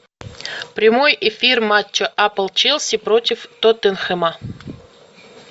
прямой эфир матча апл челси против тоттенхэма